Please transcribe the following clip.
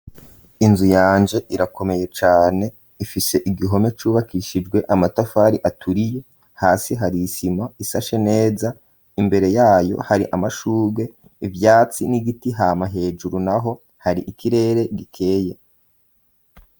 Inzu yanje irakomeye cane ifise igihome cubakishijwe amatafari aturiye hasi hari isima ishashe neza imbere yayo hari amashugwe, ivyatsi n'igiti hama hejuru naho hari ikirere gikeye.